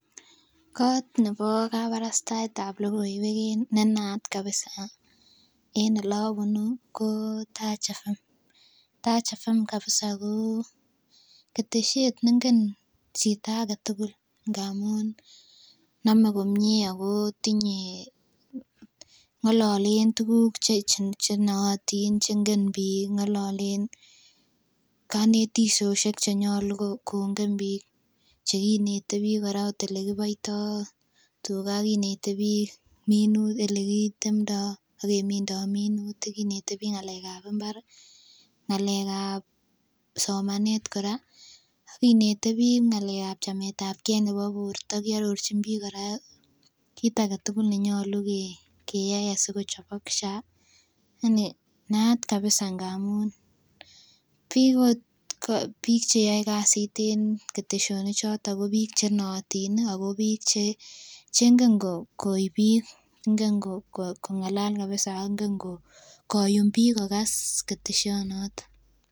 Koot nebo kabarastaet ab logoiwek nenaat babisa en oleobuni ko taach fm,taach fm kabisa ko ketesyet neng'en chito agetugul amun nome komye ako tinyee, ng'ololen tuguk chenootin cheingen biik, ng'ololen konetisosiek chenyolu kong'en biik, chekinete biik kora ot olekiboito tuga, ak kinete biik olekitemdoi ak keminndoi minutik, akinete biik ng'alek ab imbar ii, ng'alek ab somanet kora ak kinete biik ng'alek ab chametabgee nebo borto, kiororjin biik kiit agetugul nenyolu keyai asikochobok SHA, naat kabisa ng'amun biik ot cheyoe kasit en ketesyonik choton ko biik chenootin ako biik chengen koib biik, ingen kong'alal kabisa ak ingen koyum biik kogas ketesyonoto.